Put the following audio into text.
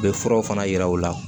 U bɛ furaw fana yira u la